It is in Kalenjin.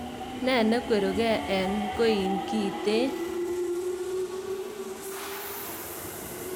Ne nekweruke en koin kiten?